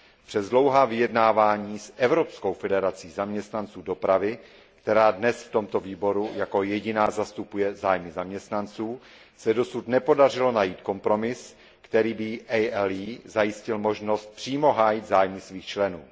Přes dlouhá vyjednávání s Evropskou federací zaměstnanců dopravy, která dnes v tomto výboru jako jediná zastupuje zájmy zaměstnanců, se dosud nepodařilo najít kompromis, který by ALE zajistil možnost přímo hájit zájmy svých členů.